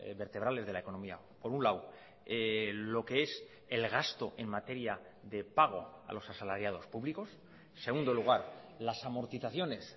vertebrales de la economía por un lado lo que es el gasto en materia de pago a los asalariados públicos en segundo lugar las amortizaciones